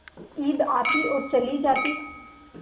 ईद आती और चली जाती